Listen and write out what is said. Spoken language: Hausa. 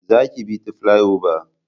Za ki bi ta filai oba!